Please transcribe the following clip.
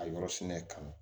A yɔrɔ sɛnɛ kama